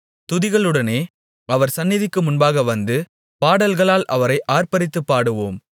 துதித்தலுடனே அவர் சந்நிதிக்கு முன்பாக வந்து பாடல்களால் அவரை ஆர்ப்பரித்துப் பாடுவோம்